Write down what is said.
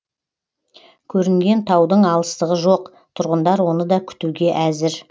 көрінген таудың алыстығы жоқ тұрғындар оны да күтуге әзір